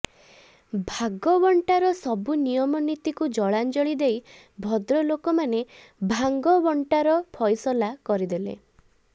ଭାଗବଣ୍ଟାର ସବୁ ନୀତିନିୟମକୁ ଜଳାଞ୍ଜଳି ଦେଇ ଭଦ୍ରଲୋକମାନେ ଭାଙ୍ଗବଣ୍ଟାର ଫଇସଲା କରିଦେଲେ